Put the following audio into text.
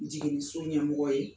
Jiginiso ɲɛmɔgɔ ye